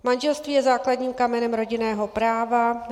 Manželství je základním kamenem rodinného práva.